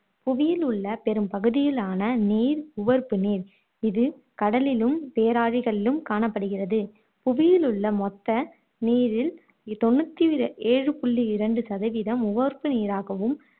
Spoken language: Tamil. புவியில் உள்ள பெரும் பகுதியிலான நீர் உவர்ப்பு நீர் இது கடலிலும் பேராளிகளிலும் காணப்படுகிறது புவியில் உள்ள மொத்த நீரில் தொண்ணுத்தி ஏழு புள்ளி இரண்டு சதவீதம் உவர்ப்பு நீராகவும்